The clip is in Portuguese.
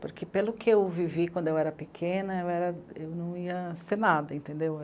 Porque pelo que eu vivi quando eu era pequena, eu era, eu não ia ser nada, entendeu?